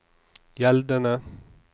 gjeldende